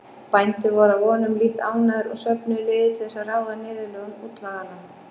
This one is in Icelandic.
Bændur voru að vonum lítt ánægðir og söfnuðu liði til þess að ráða niðurlögum útlaganna.